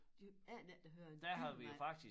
De aner ikke der hører en yver med